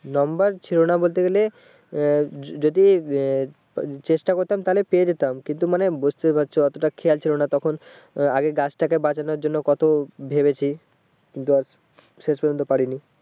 number ছিলোনা বলতে গেলে আহ যদি আহ চেষ্টা করতাম তাহলে পেয়ে যেতাম কিন্তু মানে বুঝতেপারছো অতটা খেয়াল ছিল না তখন আগে গাছটাকে বাঁচানোর জন্য কত ভেবেছি শেষ পর্যন্ত পারিনি